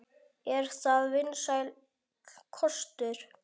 Er það vinsæll kostur?